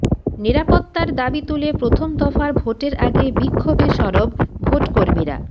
নিরাপত্তার দাবি তুলে প্রথম দফার ভোটের আগে বিক্ষোভে সরব ভোটকর্মীরা